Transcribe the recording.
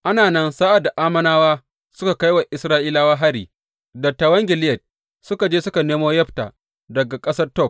Ana nan, sa’ad da Ammonawa suka kai wa Isra’ilawa hari, dattawan Gileyad suka je suka nemo Yefta daga ƙasar Tob.